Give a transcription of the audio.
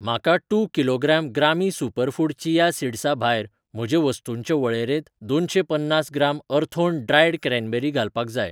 म्हाका two kilogram ग्रामी superfood chia सीड्सा भायर म्हजे वस्तूंचे वळेरेंत दोनशें पन्नास ग्राम अर्थोन ड्रायड क्रॅनबेरी घालपाक जाय.